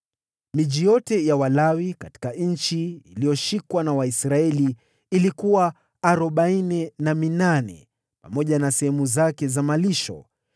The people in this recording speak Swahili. Miji yote ya Walawi katika eneo lililoshikwa na Waisraeli lilikuwa arobaini na minane, pamoja na sehemu zake za malisho.